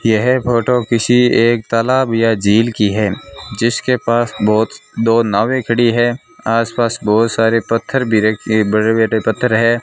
यह फोटो किसी एक तालाब या झील की है जिसके पास बहुत दो नावें खड़ी हैं आसपास बहुत सारे पत्थर भी रखे बड़े-बड़े पत्थर है।